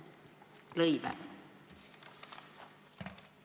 Hea küsimus!